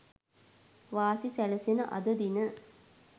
වාසි සැලසෙන අද දින